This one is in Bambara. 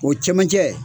O cɛmancɛ